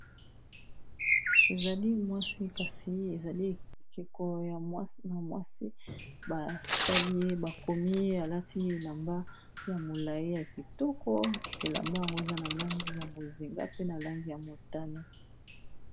Ezali mwasi kasi ezali ekeko ya mwasi basali ye bakomi alati elamba ya molayi ya kitoko elamba yango eza na langi ya bonzinga pe na langi ya motane.